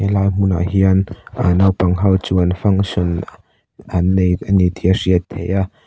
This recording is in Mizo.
helai hmunah hian aaa naupang ho chuan function an nei ani tih a hriat theih a.